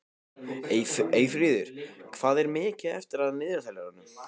Eyfríður, hvað er mikið eftir af niðurteljaranum?